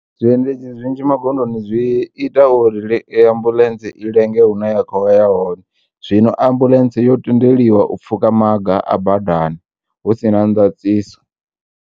Zwiendedzi zwinzhi magondoni zwi ita uri ambulentsi ilenge hune ya khouya hone zwino ambulentsi yo tendeliwa u pfhukha maga a badani husina ndaṱiso.